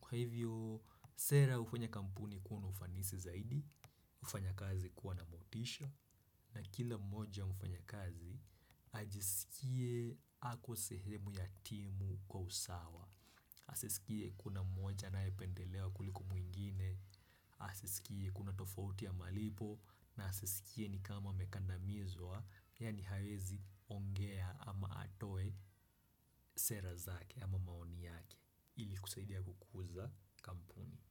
Kwa hivyo, sera hufanya kampuni kuwa na ufanisi zaidi, hufanya kazi kuwa na motisha na kila mmoja mfanyakazi ajisikie ako sehemu ya timu kwa usawa. Asisikie kuna mmoja anayependelewa kuliko mwingine, asisikie kuna tofauti ya malipo na asisikie ni kama amekandamizwa yaani hawezi ongea ama atoe sera zake ama maoni yake ili kusaidia kukuza kampuni.